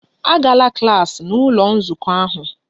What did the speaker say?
Agala klas n'ụlọ nzukọ ahụ!